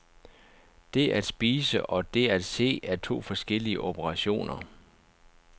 Det at spise og det at se er to forskellige operationer.